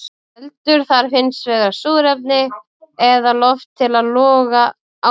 Eldur þarf hins vegar súrefni eða loft til að loga áfram.